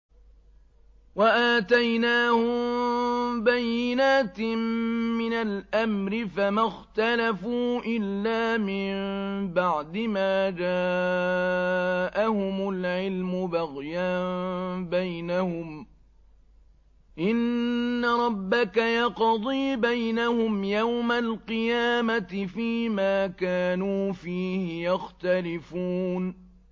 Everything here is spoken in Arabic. وَآتَيْنَاهُم بَيِّنَاتٍ مِّنَ الْأَمْرِ ۖ فَمَا اخْتَلَفُوا إِلَّا مِن بَعْدِ مَا جَاءَهُمُ الْعِلْمُ بَغْيًا بَيْنَهُمْ ۚ إِنَّ رَبَّكَ يَقْضِي بَيْنَهُمْ يَوْمَ الْقِيَامَةِ فِيمَا كَانُوا فِيهِ يَخْتَلِفُونَ